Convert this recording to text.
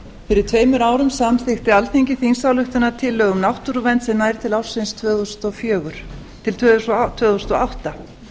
fyrir tveimur árum samþykkti alþingi þingsályktunartillögu um náttúruvernd sem nær til ársins tvö þúsund og átta